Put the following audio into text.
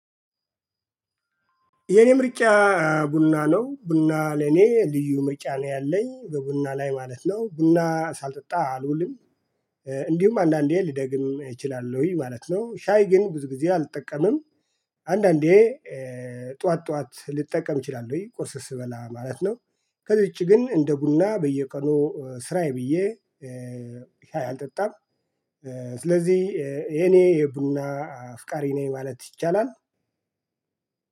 የኔ ምርጫ ቡና ነው። ቡና ለኔ ልዩ ምርጫ ነው ያለኝ። በቡና ላይ ማለት ነው። ቡና ሳልጠጣ አልውልም። እንዲሁም አንዳንዴ ልደግም እችላለሁኝ ማለት ነው። ሻይ ግን ብዙ ጊዜ አልጠቀምም። አንዳንዴ ጠዋት ጠዋት ልጠቀም እችላለሁኝ። ቁርስ ስበላ ማለት ነው። ከዚ ዉጪ ግን እንደ ቡና በየቀኑ ስራዬ ብዬ ሻይ አልጠጣም። ስለዚህ የኔ የቡና አፍቃሪ ነኝ ማለት ይቻላል።